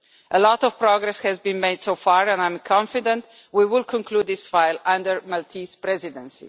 A lot of progress has been made so far and I am confident that we will conclude this file under the Maltese Presidency.